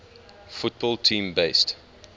football team based